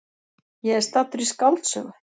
Ég er staddur í skáldsögu!